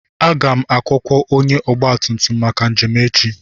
Aga m akwụkwọ onye ọgba tum tum maka njem echi.